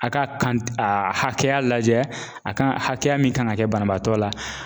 A' k'a a hakɛya lajɛ a kan hakɛya min kan ŋa kɛ banabaatɔ la